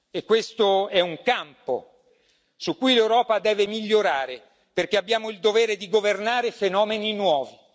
E questo è un campo su cui l'Europa deve migliorare perché abbiamo il dovere di governare fenomeni nuovi.